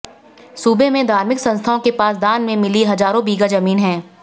सूबे में धार्मिक संस्थाओं के पास दान में मिली हजारों बीघा जमीन है